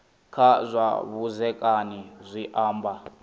kha zwa vhudzekani zwi amba